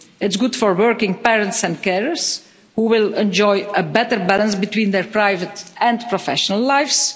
It's good for working parents and carers, who will enjoy a better balance between their private and professional lives.